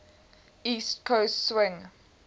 east coast swing